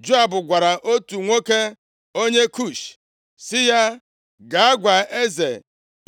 Joab gwara otu nwoke onye Kush sị ya, “Gaa gwa eze